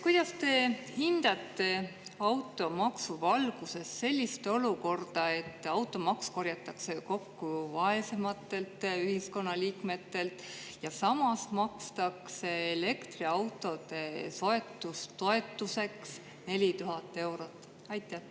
Kuidas te hindate automaksu valguses sellist olukorda, et automaks korjatakse kokku vaesematelt ühiskonnaliikmetelt ja samas makstakse elektriauto soetamise toetuseks 4000 eurot?